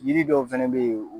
Yiri dɔw fɛnɛ be yen